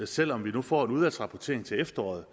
selv om vi nu får en udvalgsrapportering til efteråret